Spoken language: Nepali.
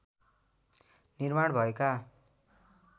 निर्माण भएका